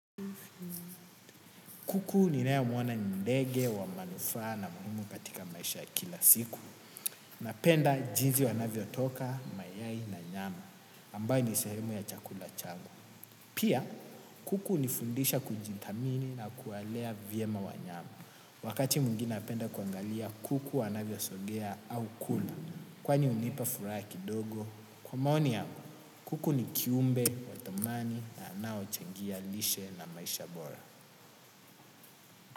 Kuku ninayemwona ni ndege, wa manufaa na muhimu katika maisha ya kila siku. Napenda jisni wanavyotoka mayai na nyama ambayo ni sehemu ya chakula yangu. Pia, kuku nifundisha kujinthamini na kuwalea vyema wanyama. Wakati mwingine napenda kuangalia kuku wanavyo sogea au kula. Kwani hunipa furaha kidogo. Kwa maoni yako, kuku ni kiumbe, wa thamani na anao changia lishe na maisha bora.